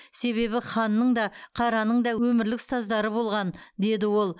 себебі ханның да қараның да өмірлік ұстаздары болған деді ол